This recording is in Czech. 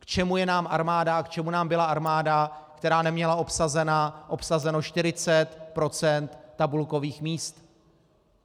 K čemu je nám armáda a k čemu nám byla armáda, která neměla obsazeno 40 % tabulkových míst?